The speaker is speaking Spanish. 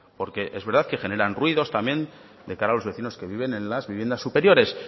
porque es verdad que generan ruidos también de cara a los vecinos que viven en las viviendas superiores